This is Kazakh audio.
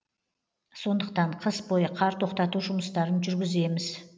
сондықтан қыс бойы қар тоқтату жұмыстарын жүргіземіз